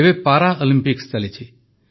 ଏବେ ପାରାଅଲିମ୍ପିକ୍ସ ଚାଲିଛି